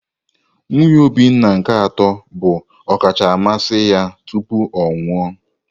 Nwunye Obioma nke atọ bụ ọkacha mmasị ya tupu ọ nwụọ.